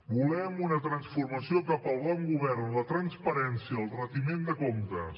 volem una transformació cap al bon govern la transparència el retiment de comptes